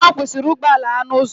Ọ kwụsịrị ụgbọala ya n'ụzọ.